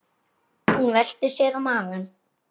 Hún velti sér á magann.